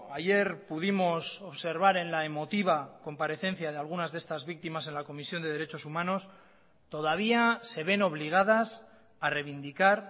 ayer pudimos observar en la emotiva comparecencia de algunas de estas víctimas en la comisión de derechos humanos todavía se ven obligadas a reivindicar